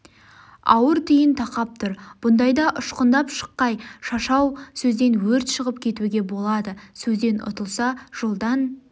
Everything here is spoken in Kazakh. ауыр түйін тақап тұр бұндайда үшқындап шыққай шашау сөзден өрт шығып кетуге болады сөзден үтылса жолдан